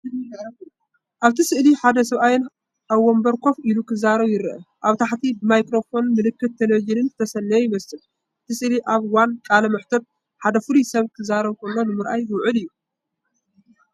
ኣብቲ ስእሊ ሓደ ሰብኣይ ኣብ መንበር ኮፍ ኢሉ ክዛረብ ይርአ። ኣብ ታሕቲ ብማይክሮፎንን ምልክት ቴሌቪዥንን ዝተሰነየ ይመስል። እቲ ስእሊ ኣብ እዋን ቃለ መሕትት ሓደ ፍሉይ ሰብ ክዛረብ ከሎ ንምርኣይ ዝውዕል እዩ።